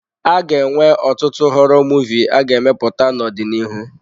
A ga-enwe ọtụtụ họrọ Muvịị a ga-emepụta n'ọdịnihu.